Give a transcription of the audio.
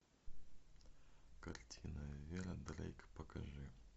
картина вера дрейк покажи